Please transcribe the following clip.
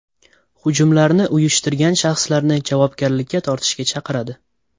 Hujumlarni uyushtirgan shaxslarni javobgarlikka tortishga chaqiradi.